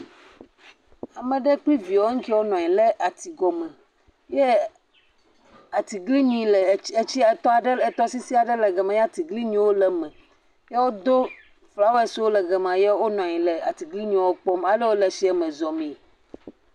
Ama ɖe kple viawoe ŋkeɛ wonɔ anyi le ati gɔme. Yɛ atiglinyi le ets etsiɛ etɔa ɖe etɔ aɖe le etɔsisi aɖe le gama yɛ atiglinyiwo le eme yɛ wodo flawɛsiwo le gama. Yɛ wonɔ anyi le atiglinyiwo kpɔm ale wole tsiɛme zɔmee.